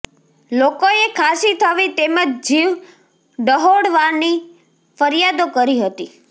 લોકોએ ખાંસી થવી તેમજ જીવ ડહોવાવાની ફરિયાદો કરી હતી